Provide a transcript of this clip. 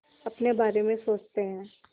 अपने बारे में सोचते हैं